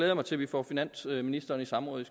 jeg mig til at vi får finansministeren i samråd i